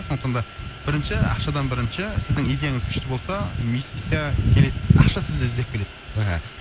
сондықтан да бірінші ақшадан бірінші сіздің идеяңыз күшті болса инвестиция келеді ақша сізді іздеп келеді мхм